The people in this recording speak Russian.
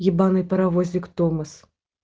ебаный паровозик томас